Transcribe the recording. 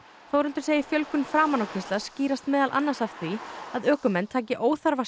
Þórhildur segir fjölgun framanákeyrslna skýrast meðal annars af því að ökumenn taki óþarfa